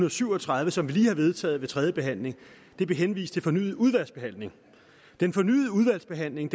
og syv og tredive som vi har vedtaget ved tredje behandling henvist til fornyet udvalgsbehandling den fornyede udvalgsbehandling